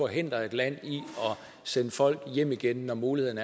forhindre et land i at sende folk hjem igen når muligheden